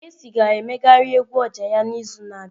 Kcee ga-emegharị egwu oja ya n'izu na-abịa.